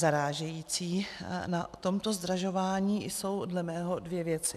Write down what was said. Zarážející na tomto zdražování jsou dle mého dvě věci.